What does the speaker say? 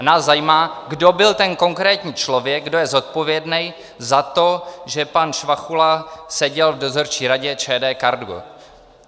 A nás zajímá, kdo byl ten konkrétní člověk, kdo je zodpovědný za to, že pan Švachula seděl v dozorčí radě ČD Cargo.